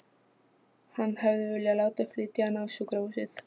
Hann hefði viljað láta flytja hana á sjúkrahúsið.